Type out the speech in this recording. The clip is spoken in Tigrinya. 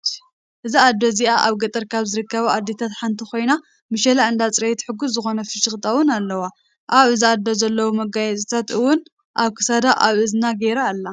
እዛ ኣዶ እዚኣ ኣብ ገጠር ካብ ዝርከባ ኣዴታት ሓንቲ ኮይና ምሸላ እንዳፀረየት ሕጉስ ዝኮነ ፍሽክታ እውን ኣለዋ። ኣብ እዛ ኣዶ እዚኣ ዘለው መጋየፅታት እውን ኣብ ክሳዳ ኣብ እዝና ገይራ ኣላ።